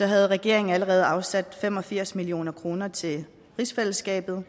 havde regeringen allerede afsat fem og firs million kroner til rigsfællesskabet